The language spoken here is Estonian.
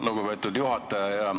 Lugupeetud juhataja!